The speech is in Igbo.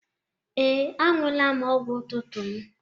Ee, añụọla m ọgwụ ụtụtụ m.